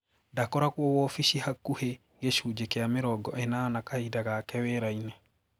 Ndakoragwo wobici hakuki gicunji kia mĩrongo enana kahinda gake wiraini.